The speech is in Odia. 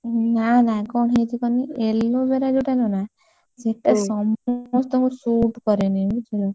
ନା ନା କଣ ହେଇଛି କହନୀ aloe vera ଯୋଉଟା ନୁହେଁ ନା ସେଇଟା ସମସ୍ତଙ୍କୁ shoot କରେନି।